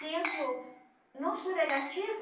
Penso, não sou negativa.